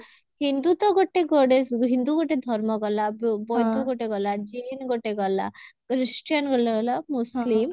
ହିନ୍ଦୁ ତ ଗୋଟେ goddess ହିନ୍ଦୁ ଗୋଟେ ଧର୍ମ ଗଲା ବୌଦ୍ଧ ଗୋଟେ ଗଲା ଜୈନ ଗୋଟେ ଗଲା ଖ୍ରୀଷ୍ଟିୟାନ ଗୋଟେ ଗଲା ମୁସଲିମ